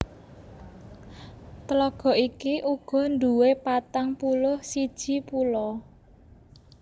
Tlaga iki uga nduwé patang puluh siji pulo